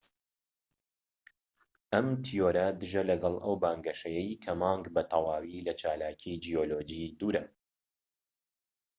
ئەم تیۆرە دژە لەگەڵ ئەو بانگەشەیەی کە مانگ بە تەواوی لە چالاکی جیۆلۆجی دوورە